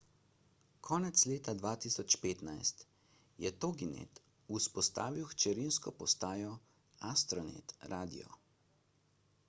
konec leta 2015 je toginet vzpostavil hčerinsko postajo astronet radio